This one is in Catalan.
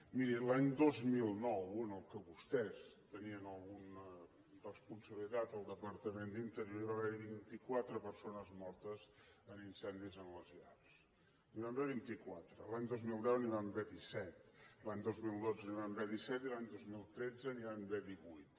miri l’any dos mil nou en què vostès tenien alguna responsabilitat al departament d’interior va haver hi vint quatre persones mortes en incendis en les llars n’hi van haver vint quatre l’any dos mil deu n’hi van haver disset l’any dos mil dotze n’hi van haver disset i l’any dos mil tretze n’hi van haver divuit